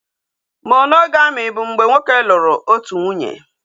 Monogami bụ mgbe nwoke lụrụ otu nwunye